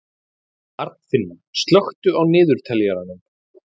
Arnfinna, slökktu á niðurteljaranum.